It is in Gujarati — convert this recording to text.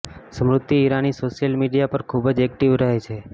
સ્મૃતિ ઈરાની સોશિયલ મીડિયા પર ખૂબ જ એક્ટિવ રહે છે